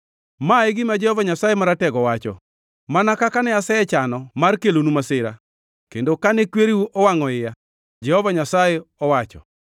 Ma e gima Jehova Nyasaye Maratego wacho: “Mana kaka ne asechano mar kelonu masira, kendo kane kwereu owangʼo iya,” Jehova Nyasaye owacho.